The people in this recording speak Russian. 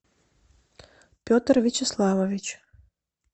петр вячеславович